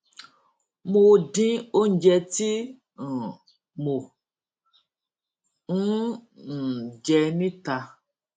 mo dín oúnjẹ tí um mò ń um jẹ níta